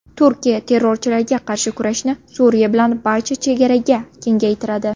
Turkiya terrorchilarga qarshi kurashni Suriya bilan barcha chegaraga kengaytiradi.